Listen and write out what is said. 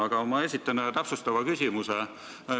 Aga ma esitan ühe täpsustava küsimuse.